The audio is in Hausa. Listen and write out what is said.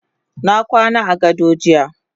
Nakwana agado jiya.